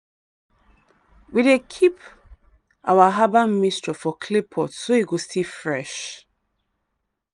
we dey keep our herbal mixture for clay pot so e go still fresh.